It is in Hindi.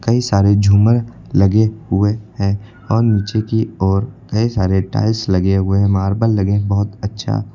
कई सारे झूमर लगे हुए हैं और नीचे की ओर कई सारे टाइल्स लगे हुए हैं। मार्बल लगी हैं बोहोत अच्छा।